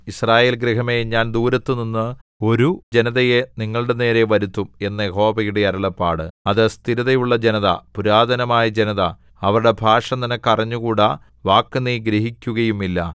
യിസ്രായേൽ ഗൃഹമേ ഞാൻ ദൂരത്തുനിന്ന് ഒരു ജനതയെ നിങ്ങളുടെനേരെ വരുത്തും എന്ന് യഹോവയുടെ അരുളപ്പാട് അത് സ്ഥിരതയുള്ള ജനത പുരാതനമായ ജനത അവരുടെ ഭാഷ നിനക്ക് അറിഞ്ഞുകൂടാ വാക്കു നീ ഗ്രഹിക്കുകയുമില്ല